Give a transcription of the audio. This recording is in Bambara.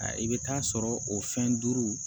I bɛ taa sɔrɔ o fɛn duuru